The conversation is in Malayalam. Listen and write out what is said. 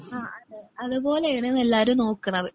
ആഹ് അതേ പോലെയാണ് എല്ലാവരും നോക്കണത്.